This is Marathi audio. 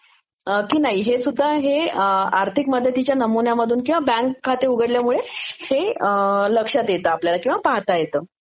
की नाही हे सुध्दा हे आर्थिक मदतीच्या नमुन्यामधून किंवा बॅंक खाते उघडल्यामुळे लक्षात येतं किंवा पाहातो येतं